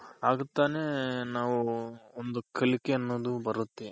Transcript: ಆಗ ತಾನೇ ನಾವು ಒಂದು ಕಲಿಕೆ ಅನ್ನೋದು ಬರುತ್ತೆ.